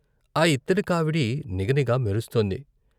ఆ యిత్తడి కావిడి నిగనిగ మెరుస్తోంది.